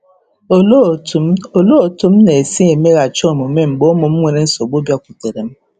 Olee otú m Olee otú m na-esi emeghachi omume mgbe ụmụ m nwere nsogbu bịakwutere m?